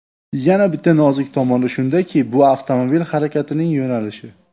Yana bitta nozik tomoni shundaki bu avtomobil harakatining yo‘nalishi.